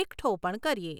એકઠો પણ કરીએ.